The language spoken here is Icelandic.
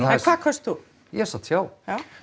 hvað kaust þú ég sat hjá